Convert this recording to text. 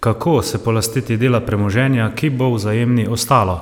kako se polastiti dela premoženja, ki bo Vzajemni ostalo?